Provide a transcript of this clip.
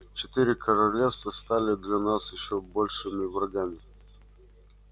четыре королевства стали для нас ещё большими врагами